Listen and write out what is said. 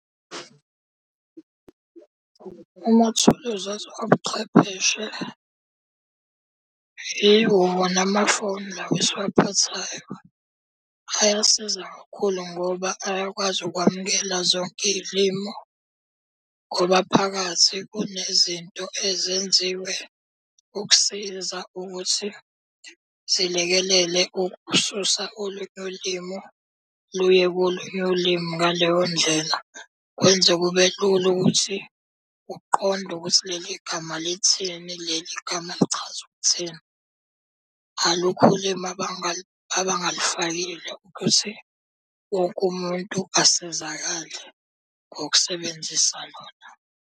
Amathuluzi obuchwepheshe yiwo wona amafoni lawa esiwaphathayo. Ayasiza kakhulu ngoba ayakwazi ukwamukela zonke iy'limu, ngoba phakathi kunezinto ezenziwe ukusiza ukuthi zilekelele ukususa olunye ulimu, luye kolunye ulimi ngaleyo ndlela. Kwenza kube lula ukuthi uqonde ukuthi leli gama lithini, leli gama lichaza ukuthini. Alukho ulimi abangalufakile ukuthi wonke umuntu asizakale ngokusebenzisa lona.